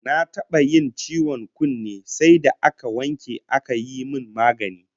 Na taba yin ciwon kunne sai da aka wanke aka yi min magani